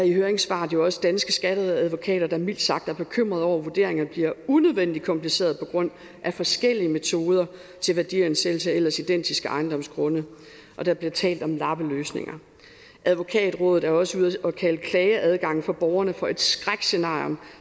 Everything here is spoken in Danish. i høringssvaret jo også danske skatteadvokater der mildt sagt er bekymrede over at vurderingerne bliver unødvendigt komplicereede på grund af forskellige metoder til værdiansættelse af ellers identiske ejendomsgrunde der bliver talt om lappeløsninger advokatrådet er også ude og kalder klageadgangen for borgerne for et skrækscenarie